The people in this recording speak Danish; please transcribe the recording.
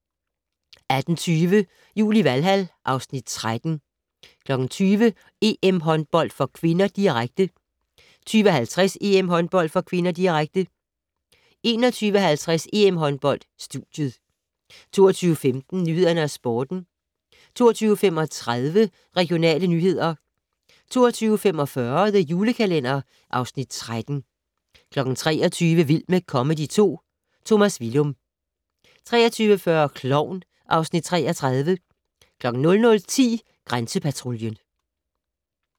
18:20: Jul i Valhal (Afs. 13) 20:00: EM-håndbold (k), direkte 20:50: EM-håndbold (k), direkte 21:50: EM-håndbold: Studiet 22:15: Nyhederne og Sporten 22:35: Regionale nyheder 22:45: The Julekalender (Afs. 13) 23:00: Vild med comedy 2 - Tomas Villum 23:40: Klovn (Afs. 33) 00:10: Grænsepatruljen